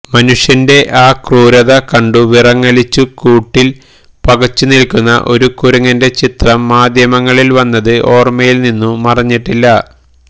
മുനുഷ്യന്റെ ആ ക്രൂരത കണ്ട് വിറങ്ങലിച്ചു കൂട്ടില് പകച്ചുനില്ക്കുന്ന ഒരു കുരങ്ങന്റെ ചിത്രം മാധ്യമങ്ങളില് വന്നത് ഓര്മയില് നിന്നു മറഞ്ഞിട്ടില്ല